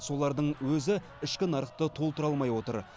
солардың өзі ішкі нарықты толтыра алмай отыр